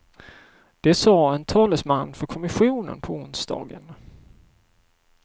Det sade en talesman för kommissionen på onsdagen.